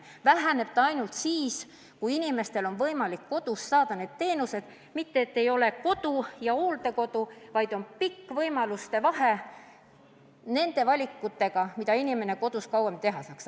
Väheneb see ainult siis, kui inimestel on võimalik kodus saada teatud teenuseid ja tema ees ei ole ainult valik, kas kodu või hooldekodu, vaid on palju võimalusi, mida inimene kodus kauem kasutada saaks.